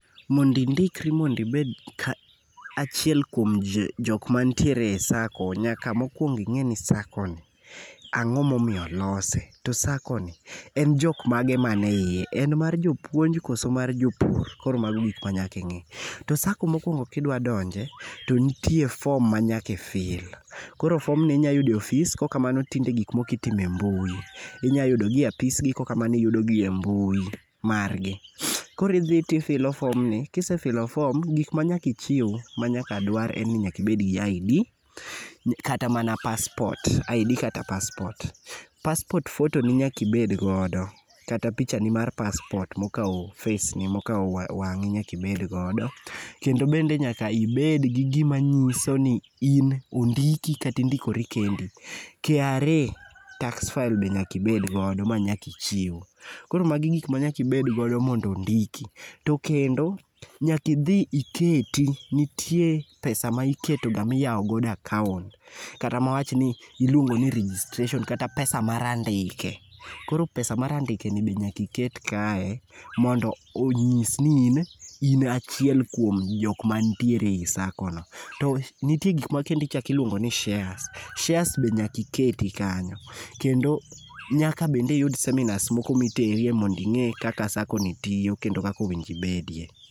Mondo indikri mondo ibed ka achiel kuom jok manitiere e SACCO, nyako mokwongo ing'eni SACCO ni ,ang'o momiyo olose, to SACCO ni ,en jok mage mane iye, en mar jopuonj koso mar jopur. Koro mago gik manyaka ing'i. To SACCO mokwongo kidwa donje ,to nitie form manyaka i fill. Koro form ni inya yudo e ofis, kokamano tinde gik moko itimo e mbui. Inyayudogi e apisgi kokamano iyudogi e mbui, margi. Koro idhi tifilo form ni, kisefilo form, gik manyaka ichiw manyaka dwar en ni nyaka ibed gi ID, kata mana passport. ID kata passport. passport photo ni nyaka ibed godo kata pichani mar passport mokawo face ni, mokawo wang'i, nyaka ibed godo. Kendo bende nyaka ibed gi gima nyiso ni in ondiki kata indikori kendi, KRA tax file be nyaka ibed godo ,manyaka ichiw. Koro magi gik manyaki bed godo mondo ondiki ,to kendo nyakidhi iketi, nitie pesa miketoga miyawo godo akaont, kata mwa wachni iluongoni registration kata pesa mar andike, koro pesa mar andikni be nyaka iket kaye, mondo onyis ni in achiel kuom jok manitiere ei SACCO no. To nitie gik makendo ichako iluongo ni shares. shares be nyaka iketi kanyo, kendo nyaka bende iyud seminars moko miterie mondo ing'e kaka SACCO ni tiyo kendo kaka owinjo ibedie.